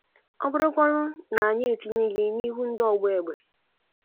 Ọ bụrụkwanụ na anyị etinye gi n'ihu ndị ọgba egbe?